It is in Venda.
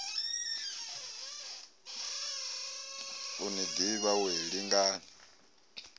u ni ḓivha wee lingani